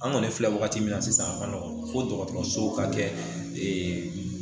An kɔni filɛ wagati min na sisan a ka nɔgɔn ko dɔgɔtɔrɔso ka kɛ ee